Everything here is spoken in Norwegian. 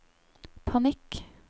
panikk